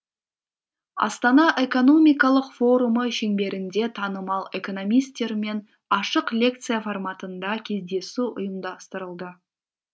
астана экономикалық форумы шеңберінде танымал экономистермен ашық лекция форматында кездесу ұйымдастырылды